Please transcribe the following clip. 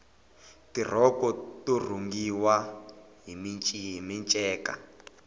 tirhoko to rhungiwa hi minceka